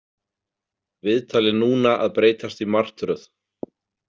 Viðtalið núna að breytast í martröð.